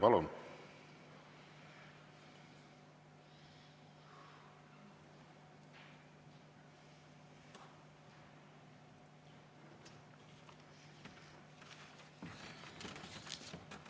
Palun!